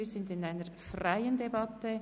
Wir führen eine freie Debatte.